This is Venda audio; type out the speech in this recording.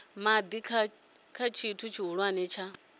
madi kha tshithu tshihulwane tsha